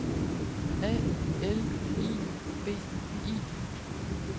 A L I B I